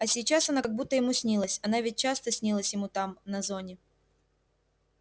а сейчас она как будто ему снилась она ведь часто снилась ему там на зоне